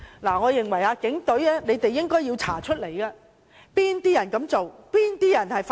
我認為警隊應要調查是哪些人做，是哪些人發動。